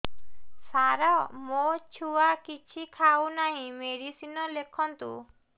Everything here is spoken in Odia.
ସାର ମୋ ଛୁଆ କିଛି ଖାଉ ନାହିଁ ମେଡିସିନ ଲେଖନ୍ତୁ